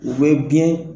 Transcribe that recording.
U bɛ biyɛn